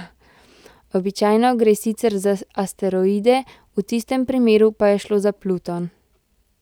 Običajno gre sicer za asteroide, v tistem primeru pa je šlo za Pluton.